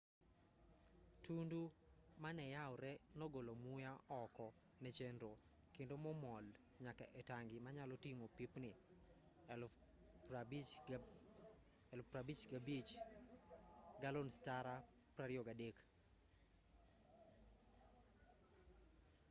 tundu maneyawree nogolo muya oko ne chenro kendo mo nomol nyaka e tangi manyalo ting'o pipni 55,000. galons tara 23